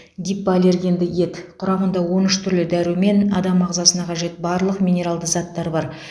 гипоаллергенді ет құрамында он үш түрлі дәрумен адам ағзасына қажет барлық минералды заттар бар